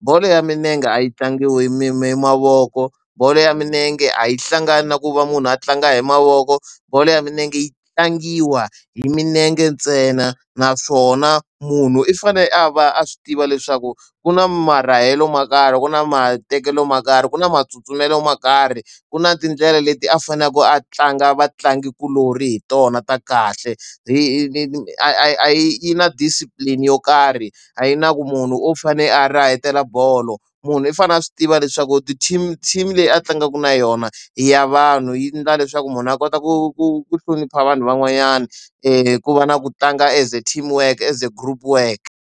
Bolo ya milenge a yi tlangiwi hi mavoko, bolo ya milenge a yi hlangani na ku va munhu a tlanga hi mavoko, bolo ya milenge yi tlangiwa hi milenge ntsena. Naswona munhu i fanele a va a swi tiva leswaku ku na marahelo mo karhi, ku na matekelo mo karhi, ku na matsutsumelo mo karhi, ku na tindlela leti a faneleke a tlanga vatlangikuloni hi tona ta kahle. A yi a yi na discipline yo karhi, a yi na ku munhu u fanele a rahetela bolo, munhu i fanele a swi tiva leswaku ti-team team leyi a tlangaka na yona hi ya vanhu yi endla leswaku munhu a kota ku ku ku hlonipha vanhu van'wanyana ku va na ku tlanga as team work, as a group work.